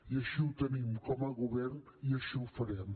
i així ho tenim com a govern i així ho farem